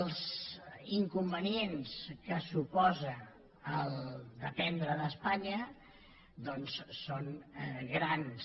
els inconvenients que suposa dependre d’espanya doncs són grans